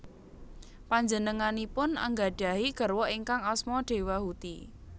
Panjenenganipun anggadhahi garwa ingkang asma Dewahuti